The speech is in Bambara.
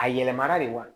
A yɛlɛmara de wa